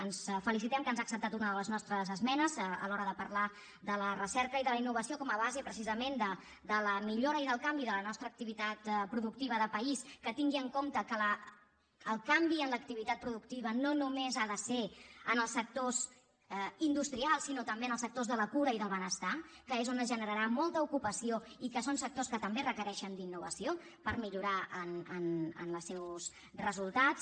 ens felicitem que ens ha acceptat una de les nostres esmenes a l’hora de parlar de la recerca i de la innovació com a base precisament de la millora i del canvi de la nostra activitat productiva de país que tingui en compte que el canvi en l’activitat productiva no només ha de ser en els sectors industrials sinó també en els sectors de la cura i del benestar que és on es generarà molta ocupació i que són sectors que també requereixen innovació per millorar en els seus resultats